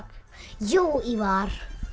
jú Ívar